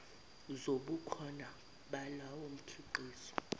zobukhona balowo mkhiqizo